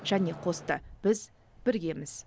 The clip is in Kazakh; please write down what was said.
және қосты біз біргеміз